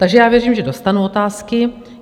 Takže já věřím, že dostanu otázky.